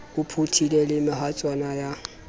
o phuthile le mehaswana ya